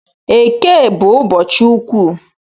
Eke bu ụbọchị ukwu